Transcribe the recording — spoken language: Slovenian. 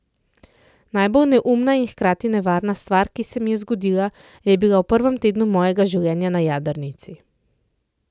Najbolj neumna in hkrati nevarna stvar, ki se mi je zgodila, je bila v prvem tednu mojega življenja na jadrnici.